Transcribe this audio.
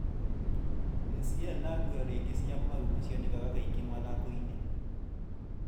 ACL na gurario ingĩ cia maru nĩ cionekaga kaingĩ mathakoinĩ.